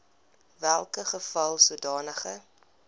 welke geval sodanige